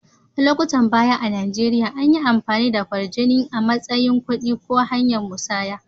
Lokutan baya a'Nijeriya, anyi amfani da kwarjini a'matsayin kudi ko hanya'n musanya.